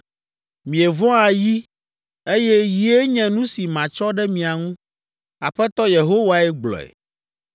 Mievɔ̃a yi, eye yie nye nu si matsɔ ɖe mia ŋu.’ Aƒetɔ Yehowae gblɔe.